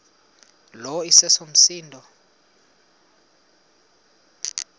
lo iseso msindo